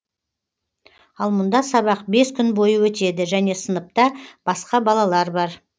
ал мұнда сабақ бес күн бойы өтеді және сыныпта басқа балалар бар